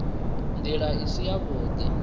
nd ila i si yavhud